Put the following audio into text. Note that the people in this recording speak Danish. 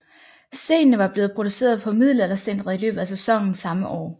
Stenene var blevet produceret på Middelaldercentret i løbet af sæsonen samme år